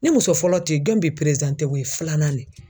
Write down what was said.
Ni muso fɔlɔ tɛ yen jɔn be o ye filanan de ye